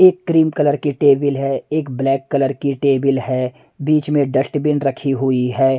एक cream colour की table है एक ब्लैक कलर की टेबल है बीच में डस्टबीन रखी हुई है।